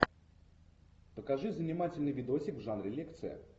покажи занимательный видосик в жанре лекция